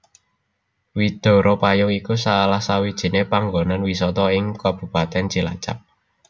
Widara Payung iku salah sawijiné panggonan wisata ing Kabupatèn Cilacap